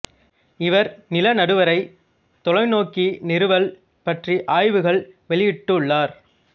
இவர் நில நடுவரை தொலைநோக்கி நிறுவல் பற்றி ஆய்வுகள் வெளியிட்டுள்ளார்